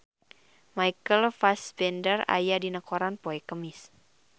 Michael Fassbender aya dina koran poe Kemis